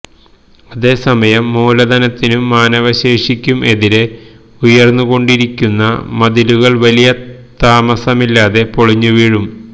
അതെ സമയം മൂലധനത്തിനും മാനവശേഷിക്കും എതിരെ ഉയർന്നു കൊണ്ടിരിക്കുന്ന മതിലുകൾ വലിയ താമസമില്ലാതെ പൊളിഞ്ഞു വീഴും